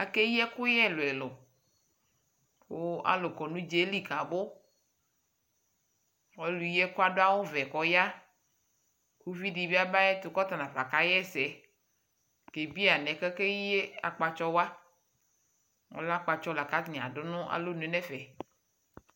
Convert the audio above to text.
akɛyi ɛkʋyɛ ɛlʋɛlʋkʋ alʋ kɔnʋ ʋdzali kabʋ, ɔlʋ yi ɛkʋɛ adʋ awʋ vɛ kʋ ɔya ʋvi dibi aba ayɛtʋ kʋ ɔtanafa kayɛsɛ kɛ biɛ alɛnɛ akɛyi akpatsɔ wa, ɔlɛ akpatsɔ lakʋatani adʋ nʋalɔnʋɛ nɛƒɛ